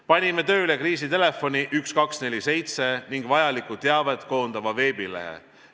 Panime tööle kriisiinfotelefoni 1247 ning vajalikku teavet koondava veebilehe.